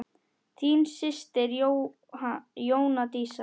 Þín systir Jóna Dísa.